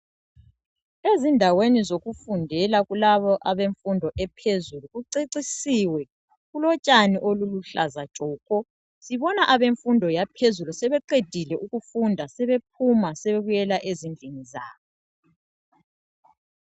Ezindaweni zokufundela kulabo abemfundo ephezulu kucecisiwe kulotshani oluluhlaza tshoko. Sibona abemfundo yaphezulu sebeqedile ukufunda sebephuma sebebuyela ezindlini zabo.